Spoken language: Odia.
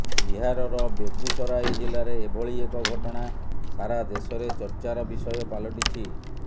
ବିହାରର ବେଗୁସରାଇ ଜିଲ୍ଲାରେ ଏଭଳି ଏକ ଘଟଣା ସାରା ଦେଶରେ ଚର୍ଚ୍ଚାର ବିଷୟ ପାଲଟିଛି